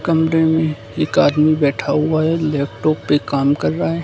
कमरे में एक आदमी बैठा हुआ है लैपटॉप पे काम कर रहा है।